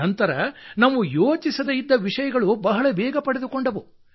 ನಂತರ ನಾವು ಯೋಚಿಸದೇ ಇದ್ದ ವಿಷಯಗಳೂ ಅಪಾರ ವೇಗ ಪಡೆದುಕೊಂಡವು